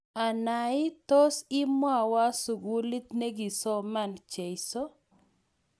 Ana ii, tois imwaywa sukulit ne kisoman Jeso?